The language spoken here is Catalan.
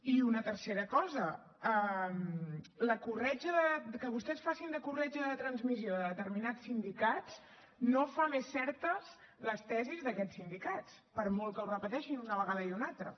i una tercera cosa que vostès facin de corretja de transmissió de determinats sindicats no fa més certes les tesis d’aquests sindicats per molt que ho repeteixin una vegada i una altra